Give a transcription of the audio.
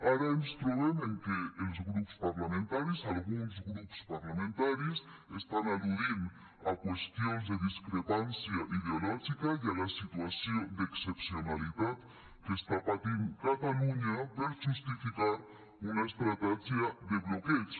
ara ens trobem amb que els grups parlamentaris alguns grups parlamentaris estan al·ludint a qüestions de discrepància ideològica i a la situació d’excepcionalitat que està patint catalunya per justificar una estratègia de bloqueig